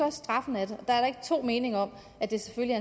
at straffen er og der er ikke to meninger om at det selvfølgelig